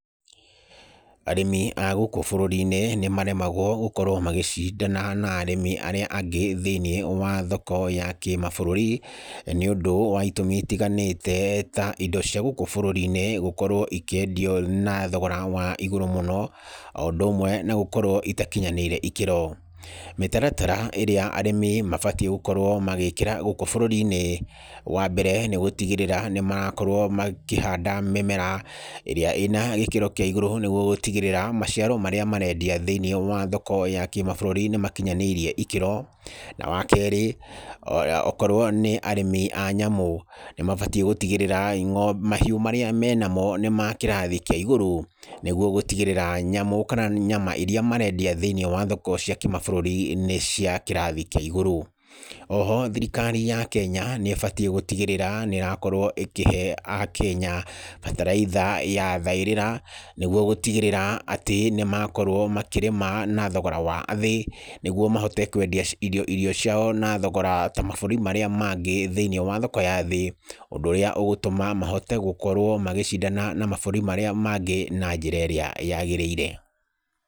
Arĩmi a gũkũ bũrũri-inĩ nĩ maremagwo gũkorwo magĩcindana na arĩmi arĩa angĩ thĩiniĩ wa thoko ya kĩmabũrũri, nĩ ũndũ wa itũmi itiganĩte ta indo cia gũkũ bũrũri-inĩ gũkorwo ikĩendio na thogora wa igũrũ mũno, o ũndũ ũmwe na gũkorwo itakinyanĩire ikĩro. Mĩtaratara ĩrĩa arĩmi mabatiĩ gũkorwo magĩkĩra gũkũ bũrũri-inĩ, wa mbere nĩ gũtigĩrĩra nĩ marakorwo makĩhanda mĩmera, ĩrĩa ĩna gĩkĩro kĩa igũrũ nĩguo gũtigĩrĩra maciaro marĩa marendia thĩiniĩ wa thoko ya kĩmabũrũri nĩ makinyanĩirie ikĩro. Na wa kerĩ, okorwo nĩ arĩmi a nyamu, nĩ mabatiĩ gũtigĩrĩra mahiu marĩa menamo nĩ ma kĩrathi kĩa igũrũ, nĩguo gũtigĩgĩrĩra nyamu kana nyama iria marendia thĩiniĩ wa thoko cia kĩmabũrũri nĩ cia kĩrathi kĩa igũrũ. Oho thirikari ya Kenya, nĩ ĩbatiĩ gũtigĩrĩra nĩ ĩrakorwo ĩkĩhe a Kenya bataraitha ya thaĩrĩra nĩguo gũtigĩrĩra atĩ nĩ makorwo makĩrĩma na thogora wa a thĩ, nĩguo mahote kwendia irio ciao na thogora ta mabũrũrĩ marĩa mangĩ thĩiniĩ wa thoko yathĩ, ũndũ ũrĩa ũgũtũma mahote gũkorwo magĩcindana na mabũrũri marĩa mangĩ na njĩra ĩrĩa yagĩrĩire.